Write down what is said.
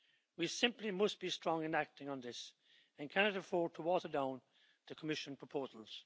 We simply must be strong in acting on this and we cannot afford to water down the Commission proposals.